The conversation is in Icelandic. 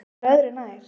Það var öðru nær.